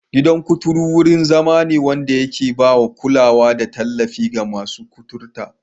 Gidan kuturu wurin zama ne wanda ke ba da kulawa da tallafi ga masu kuturta.